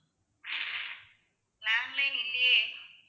landline இல்லையே.